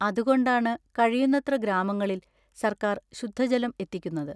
അതുകൊണ്ടാണ് കഴിയുന്നത്ര ഗ്രാമങ്ങളിൽ സർക്കാർ ശുദ്ധജലം എത്തിക്കുന്നത്.